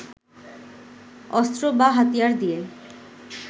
অস্ত্র বা হাতিয়ার দিয়ে